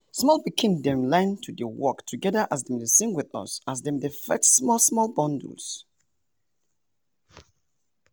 sometimes ehndem dey use songs tell persin say snakes dey or shukushuku dey hide um for under um leaves.